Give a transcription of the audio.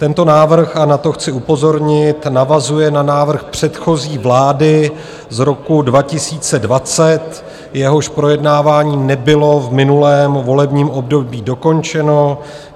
Tento návrh, a na to chci upozornit, navazuje na návrh předchozí vlády z roku 2020, jehož projednávání nebylo v minulém volebním období dokončeno.